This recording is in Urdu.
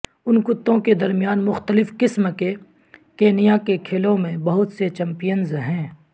ان کتوں کے درمیان مختلف قسم کے کینیا کے کھیلوں میں بہت سے چیمپئنز ہیں